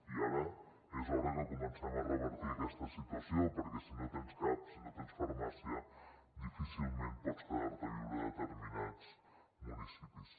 i ara és hora que comencem a revertir aquesta situació perquè si no tens cap si no tens farmàcia difícilment pots quedar a viure a determinats municipis